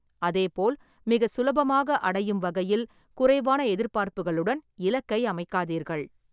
அதேபோல், மிக சுலபமாக அடையும் வகையில் குறைவான எதிர்பார்ப்புகளுடன் இலக்கை அமைக்காதீர்கள்.